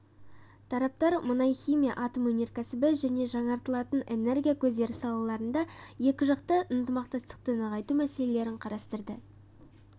тараптар мұнай-химия атом өнеркәсібі және жаңартылатын энергия көздері салаларында екі жақты ынтымақтастықты нығайту мәселелерін қарастырды